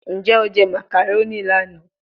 Njẹ o jẹ macaroni lana?